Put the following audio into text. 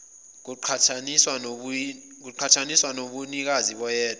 kuqhathaniswa nobunikazi boyedwa